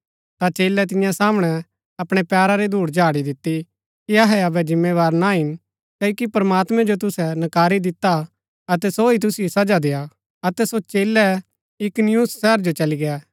ता चेलै तियां सामणै अपणै पैरा री धूड झाड़ी दिती कि अहै अबै जिम्मेदार ना हिन क्ओकि प्रमात्मैं जो तुसै नकारी दिता अतै सो ही तुसिओ सजा देय्आ अतै सो चेलै इकुनियुम शहर जो चली गै